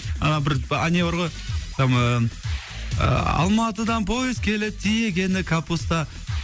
ана бір а б не бар ғой алматыдан поезд келеді тиегені капуста